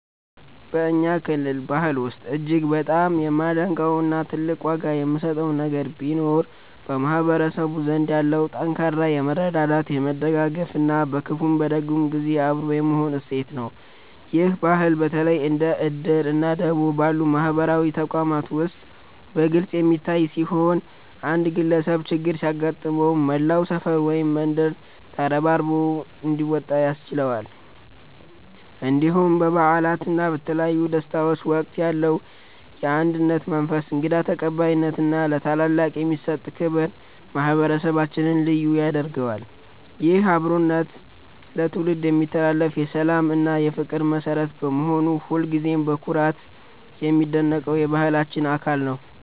በእኛ ክልል ባህል ውስጥ እጅግ በጣም የማደንቀው እና ትልቅ ዋጋ የምሰጠው ነገር ቢኖር በማህበረሰቡ ዘንድ ያለው ጠንካራ የመረዳዳት፣ የመደጋገፍ እና በክፉም በደግም ጊዜ አብሮ የመሆን እሴት ነው። ይህ ባህል በተለይ እንደ 'እድር' እና 'ደቦ' ባሉ ማህበራዊ ተቋማት ውስጥ በግልጽ የሚታይ ሲሆን፣ አንድ ግለሰብ ችግር ሲገጥመው መላው ሰፈር ወይም መንደር ተረባርቦ እንዲወጣ ያስችለዋል። እንዲሁም በበዓላት እና በተለያዩ ደስታዎች ወቅት ያለው የአንድነት መንፈስ፣ እንግዳ ተቀባይነት እና ለታላላቅ የሚሰጠው ክብር ማህበረሰባችንን ልዩ ያደርገዋል። ይህ አብሮነት ለትውልድ የሚተላለፍ የሰላም እና የፍቅር መሠረት በመሆኑ ሁልጊዜም በኩራት የማደንቀው የባህላችን አካል ነው።